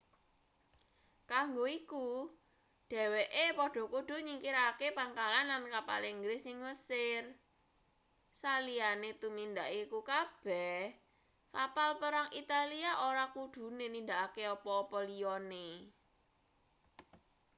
kanggo iku dheweke padha kudu nyingkirake pangkalan lan kapal inggris ing mesir saliyane tumindak iku kabeh kapal perang italia ora kudune nindakake apa-apa liyane